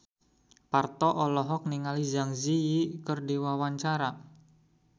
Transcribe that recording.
Parto olohok ningali Zang Zi Yi keur diwawancara